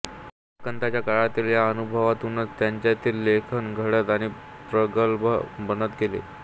भटकंतीच्या काळातील या अनुभवांतूनच त्यांच्यातील लेखक घडत आणि प्रगल्भ बनत गेला